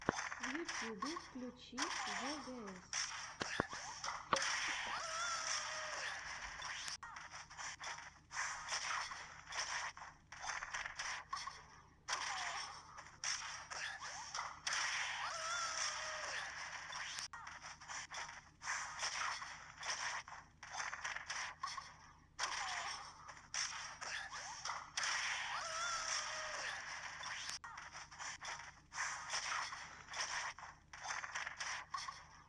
на ютюбе включи вгс